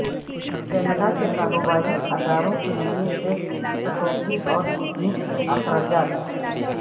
Canada کے کاروباری اداروں کے لئے ٹیکس کٹوتی اور بزنس اخراجات